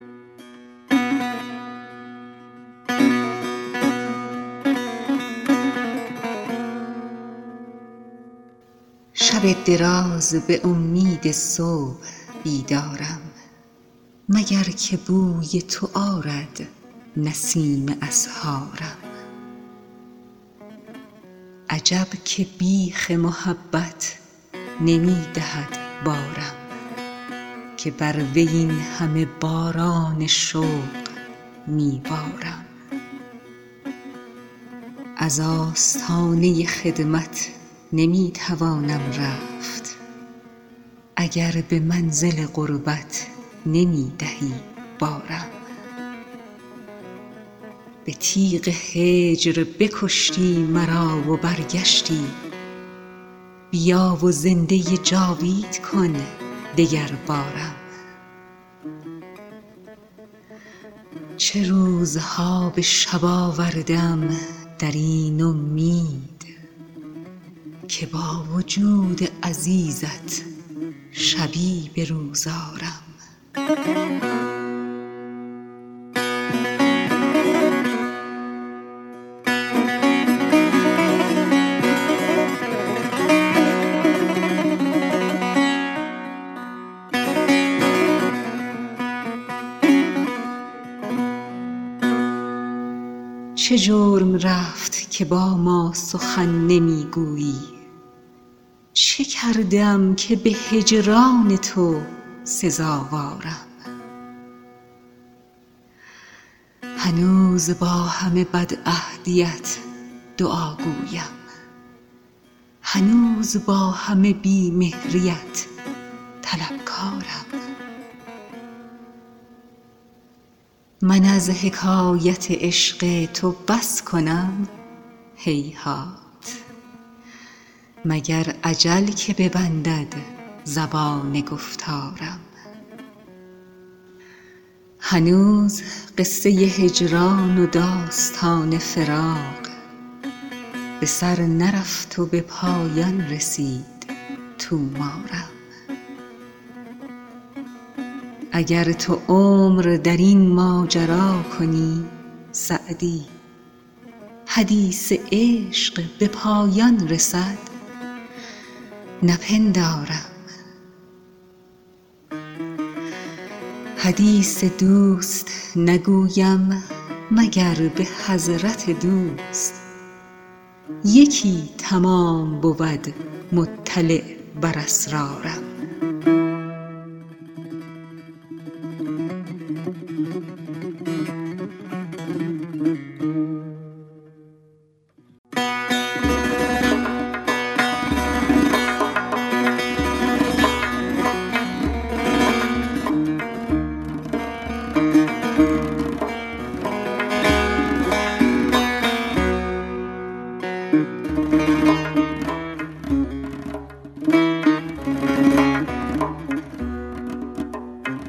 شب دراز به امید صبح بیدارم مگر که بوی تو آرد نسیم اسحارم عجب که بیخ محبت نمی دهد بارم که بر وی این همه باران شوق می بارم از آستانه خدمت نمی توانم رفت اگر به منزل قربت نمی دهی بارم به تیغ هجر بکشتی مرا و برگشتی بیا و زنده جاوید کن دگربارم چه روزها به شب آورده ام در این امید که با وجود عزیزت شبی به روز آرم چه جرم رفت که با ما سخن نمی گویی چه کرده ام که به هجران تو سزاوارم هنوز با همه بدعهدیت دعاگویم هنوز با همه بی مهریت طلبکارم من از حکایت عشق تو بس کنم هیهات مگر اجل که ببندد زبان گفتارم هنوز قصه هجران و داستان فراق به سر نرفت و به پایان رسید طومارم اگر تو عمر در این ماجرا کنی سعدی حدیث عشق به پایان رسد نپندارم حدیث دوست نگویم مگر به حضرت دوست یکی تمام بود مطلع بر اسرارم